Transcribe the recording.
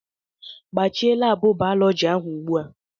Gbachie laabụ bayọlọji ahụ ugbu a!